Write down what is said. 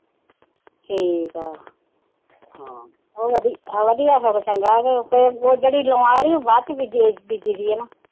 ਠੀਕਾ ਹਮ ਉਹ ਵਧੀਆਂ ਸਗਾ ਚੰਗਾ ਉਹ ਜਿਹੜੀ ਲੋਆਂ ਆਲੀ ਉਹ ਬਾਅਦ ਚ ਬੀਜੀ ਦੀ